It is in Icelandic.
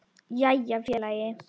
Jæja félagi!